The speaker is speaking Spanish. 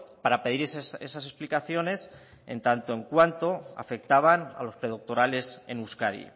para pedir esas explicaciones en tanto en cuanto afectaban a los predoctorales en euskadi